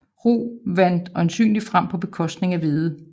Rug vandt øjensynligt frem på bekostning af hvede